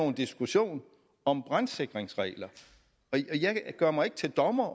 en diskussion om brandsikringsregler jeg gør mig ikke til dommer